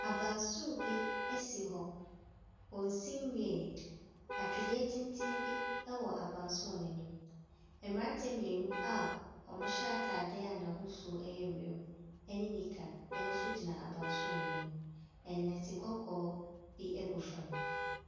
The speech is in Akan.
Abansoro bi esi hɔ. Wonnsi anwie yɛ. Atwedeɛ tenten bi ɛwɔ abansoro no anim. Mmranteɛ mmienu a ɔmo hyɛ ataade a n'ahosuo no yɛ ewiem ɛne nika ɛnso gyina abansoro n'anim. Nnɔte kɔkɔɔ bi egu fam.